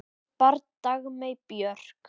Barn Dagmey Björk.